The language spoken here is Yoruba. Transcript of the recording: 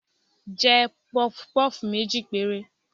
jẹ pufú pufú mejí pẹre